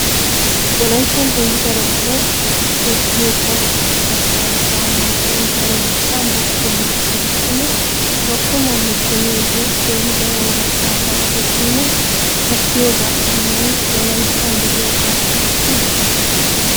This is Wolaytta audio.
Wollayttan kehi daro asay dossiyoykka katta ubban mal'uwa dariykka loggomuwaa gidikkonne loggomuwaa loggomiyooge keehi daro wolaytta asay errikkonne kattiyooga erena wolayttay de'iyooga eretii?